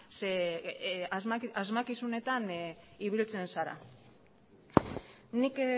ze asmakizunetan ibiltzen zara nik